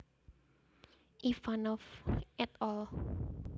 Ivanov et al